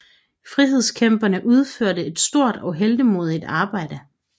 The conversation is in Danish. Frihedskæmperne udfører et stort og heltemodigt arbejde